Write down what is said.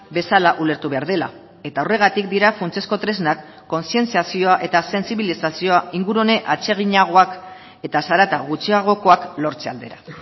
bezala ulertu behar dela eta horregatik dira funtsezko tresnak kontzientziazioa eta sentsibilizazioa ingurune atseginagoak eta zarata gutxiagokoak lortze aldera